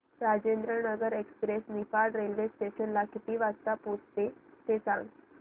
Rajendranagar express Niphad railway station ला किती वाजता पोहचते ते सांग